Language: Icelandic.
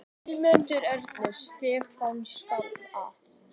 Sigmundur Ernir: Stefna skal að?